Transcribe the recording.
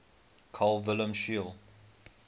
carl wilhelm scheele